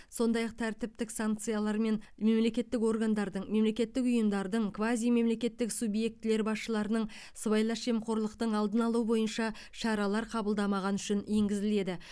сондай ақ тәртіптік санкциялар мен мемлекеттік органдардың мемлекеттік ұйымдардың квазимемлекеттік субъектілер басшыларының сыбайлас жемқорлықтың алдын алу бойынша шаралар қабылдамағаны үшін енгізіледі